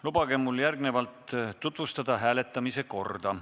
Lubage mul järgnevalt tutvustada hääletamise korda.